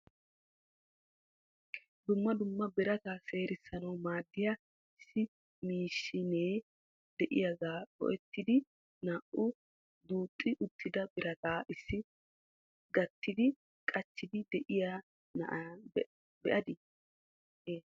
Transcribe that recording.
Dumma dumma birata seerissanaw maaddiya issi maashshinee de'iyaaga go"ettidi naa"u duuxi uttida birata issi gattidi gachchidi de'iyaa na'a be'adi ?